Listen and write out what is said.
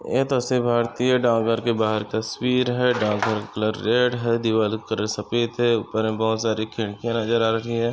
ये तस्वीर भारतीय डाक घर की बाहर तस्वीर है। डाक घर कलर रेड है दीवार का कलर सफ़ेद है ऊपर हमे बहुत सारी खिड़किया नजर आ रही है।